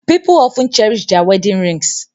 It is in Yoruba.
People often cherish their wedding rings